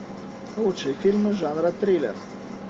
лучшие фильмы жанра триллер